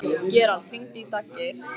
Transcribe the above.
Gerald, hringdu í Daggeir.